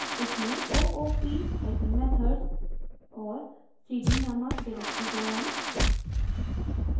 इसमें oopmethods और cd नामक डिरेक्टरी बनायें